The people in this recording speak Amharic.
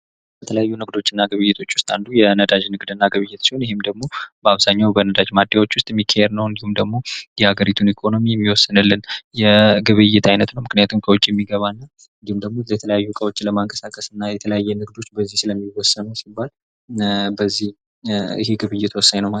ከተለያዩ ንግዶችና ግብይቶች ውስጥ አንዱ የነዳጅ ንግድና ግብይት ሲሆን ይህ ደግሞ በአብዛኛው የነዳጅ ማደኛ ሰዎች ውስጥ የሚካሄደው እንዲሁም ደግሞ የአገሪቱን ኢኮኖሚ የሚወስንልን የግብይት አይነት ነው ምክንያቱም ከውጭ የሚገባ እንዲሁም ደግሞ የተለያዩ እቃዎችን ለማንቀሳቀስ የተለያዩ ንግዶች በዚህ ስለሚወሰኑ የግብይት ወሳኝ ነው ማለት ነው።